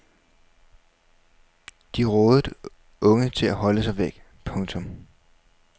De rådede unge til at holde sig væk. punktum